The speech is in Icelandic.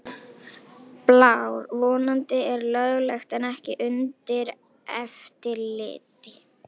Blár: Vændi er löglegt en ekki undir eftirliti.